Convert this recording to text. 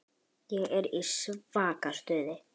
Ég er í svaka stuði.